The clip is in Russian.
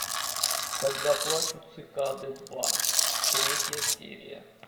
когда плачут цикады два третья серия